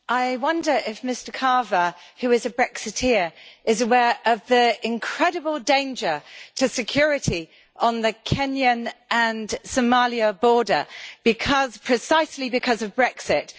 I wonder if Mr Carver, who is a Brexiter, is aware of the incredible danger to security on the Kenyan and Somali border precisely because of Brexit?